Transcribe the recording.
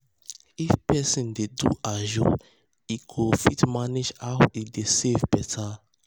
if person dey do ajo e go fit manage how e dey save better.